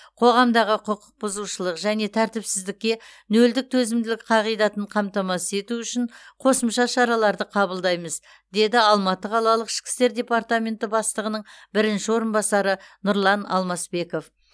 қоғамдағы құқық бұзушылық және тәртіпсіздікке нөлдік төзімділік қағидатын қамтамасыз ету үшін қосымша шараларды қабылдаймыз деді алматы қалалық ішкі істер департментінің бастығының бірінші орынбасары нұрлан алмасбеков